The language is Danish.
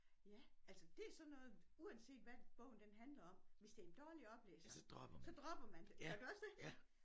Ja altså det er sådan noget uanset hvad bogen den handler om hvis det en dårlig oplæser så dropper man det gør du også det?